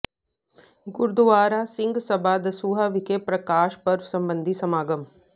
ਗੁਰਦੁਆਰਾ ਸਿੰਘ ਸਭਾ ਦਸੂਹਾ ਵਿਖੇ ਪ੍ਰਕਾਸ਼ ਪੁਰਬ ਸੰਬੰਧੀ ਸਮਾਗਮ